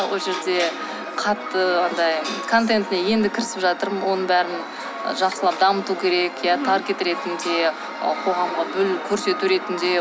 ол жерде қатты андай контентіне енді кірісіп жатырмын оның бәрін жақсылап дамыту керек иә таргет ретінде қоғамға көрсету ретінде